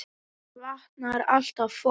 Hér vantar alltaf fólk.